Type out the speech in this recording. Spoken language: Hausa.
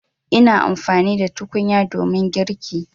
Ina amfani da tukunya domin girki.